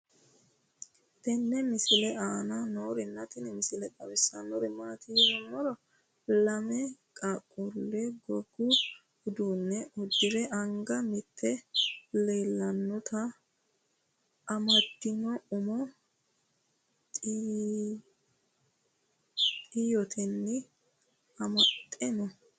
tenne misile aana noorina tini misile xawissannori maati yinummoro lame qaaqulli gogu uduunne udirre anga mitte elentto amadeenna umo xiyoottenni amaxxe noo